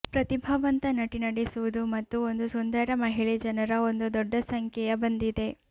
ಪ್ರತಿಭಾವಂತ ನಟಿ ನಡೆಸುವುದು ಮತ್ತು ಒಂದು ಸುಂದರ ಮಹಿಳೆ ಜನರ ಒಂದು ದೊಡ್ಡ ಸಂಖ್ಯೆಯ ಬಂದಿದೆ